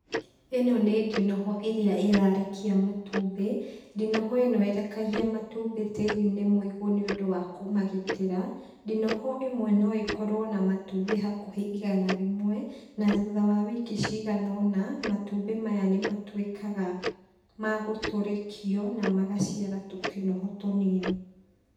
Ĩno ni ndinoho ĩrĩa ĩrarekia matumbĩ. Ndinoho ĩno irekagia matumbĩ tĩri-inĩ mũigũ nĩũndũ wa kũmagitĩra. Ndinoho ĩmwe no ĩkorwo na matumbĩ hakũhĩ igana rĩmwe na thutha wa wiki cigana ũna matumbĩ maya nĩmatuĩkaga ma gũtũrĩkio, na magaciara tũtinoho tũnini.